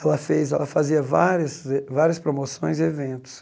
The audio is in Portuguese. Ela fez ela fazia várias várias promoções e eventos.